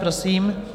Prosím.